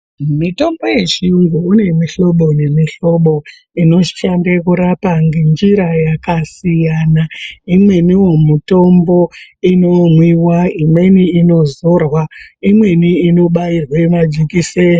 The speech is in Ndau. Mitombo yechiyungu mune mihlobo nemihlobo inoshande kurapa ngenjira yakasiyana. Imweniwo mitombo inomwiwa, imweni inozorwa, imweni inobairwe majekiseni.